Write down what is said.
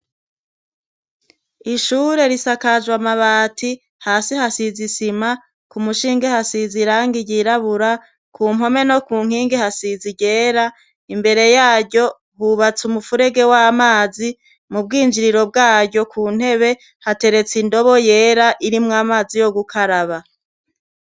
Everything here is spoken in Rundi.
Ishure risakajw' amabati hasi hasiz' isima , k'umushinge hasiz' irangi ryirabura, kumpome no ku nkingi hasize ryera, imbere yaryo hubats' umfurege w' amazi, mubwinjiriro bwaryo ku ntebe haterets' indobo yer' irimw' amazi yo gukaraba.